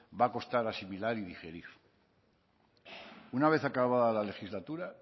va costar asimilar y digerir una vez acabada la legislatura